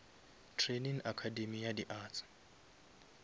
training academay ya di arts